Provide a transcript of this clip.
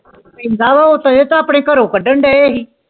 ਆਪਣੇ ਘਰੋਂ ਕਾਡਾਂ ਦੇਇ ਹੀ